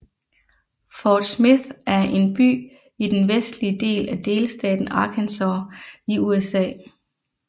Fort Smith er en by i den vestlige del af delstaten Arkansas i USA